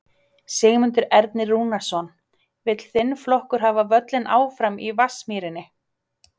Sigmundur Ernir Rúnarsson: Vill þinn flokkur hafa völlinn áfram í Vatnsmýrinni?